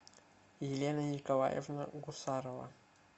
елена николаевна гусарова